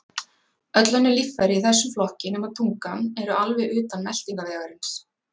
Öll önnur líffæri í þessum flokki, nema tungan, eru alveg utan meltingarvegarins.